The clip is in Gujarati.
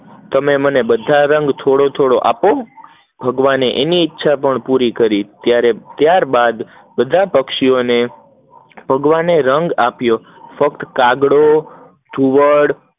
તમાર મને રંગ થોડો થોડો આપો, ભગવાને એની ઈચ્છા પુરી કરી, ત્યાર બાદ પક્ષીઓ ભગવાને રંગ આપ્યો, ફક્ત કાગડો અને ઘુવડ